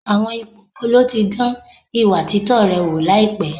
Àwọn ipò wo ló ti dán ìwà títọ́ rẹ wò láìpẹ́?